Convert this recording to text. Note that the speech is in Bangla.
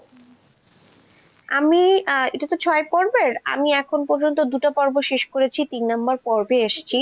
আমি এটা তো ছয় পর্বের, আমি এখন পর্যন্ত দুটো পর্ব শেষ করেছি, তিন নম্বর পর্বে এসেছি,